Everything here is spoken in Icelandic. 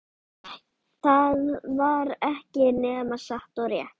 Það var ekki nema satt og rétt.